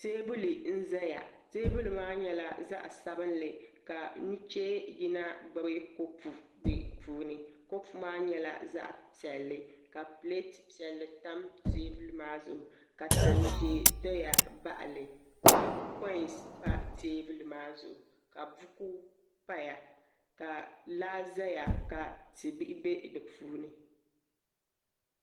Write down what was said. Teebuli n ʒɛya teebuli maa nyɛla zaɣ sabinli ka nuchee yina gbubi kopu di puuni kopu maa nyɛla zaɣ piɛlli ka pileeti piɛlli tam teebuli maa zuɣu ka tan ʒiɛ doya baɣali ka koins pa teebuli maa zuɣu ka buku paya ka laa ʒɛya ka ti bihi bɛ di puuni